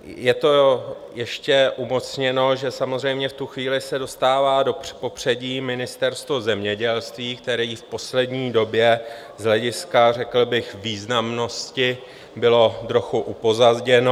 Je to ještě umocněno, že samozřejmě v tu chvíli se dostává do popředí Ministerstvo zemědělství, které v poslední době z hlediska řekl bych významnosti bylo trochu upozaděno.